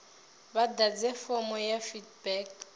vha ḓadze fomo ya feedback